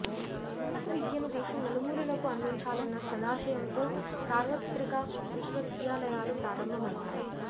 ఉన్నత విద్యను దేశం నలుమూలలకు అందించాలన్న సదాశయంతో సార్వత్రిక విశ్వవిద్యాలయాలు ప్రారంభమయ్యాయి